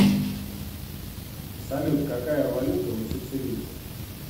салют какая валюта у сицилийцев